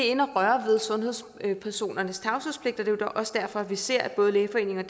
inde at røre ved sundhedspersonernes tavshedspligt og er også derfor at vi ser at både lægeforeningen